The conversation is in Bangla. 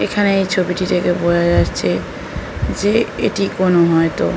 এখানে এই ছবিটি দেখে বোঝা যাচ্ছে যে এটি কোনো হয়ত --